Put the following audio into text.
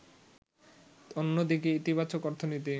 অন্য দিকে ইতিবাচক অর্থনীতি